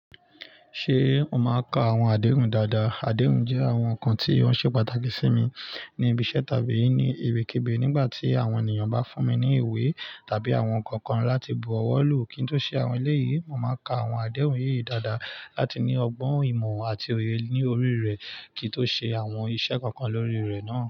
Ṣé o máa ka àwọn adéhùn dáadáa? Adéhùn jẹ́ àwọn nǹkan tí ó ṣe pàtàkì sí mi ní ibi iṣẹ́ tàbí ní ibikibi nígbà tí àwọn ènìyàn bá fún mi ní ìwé tàbí àwọn nǹkan kan láti bu ọwọ́ lù kí n tó ṣe àwọn eléyìí. Mo máa ka àwọn adéhùn yìí dáadáa láti ní ọgbọ́n ìmọ̀ àti òye ní orí rẹ̀ kí n tó ṣe àwọn iṣẹ́ kankan lórí rẹ̀ náà.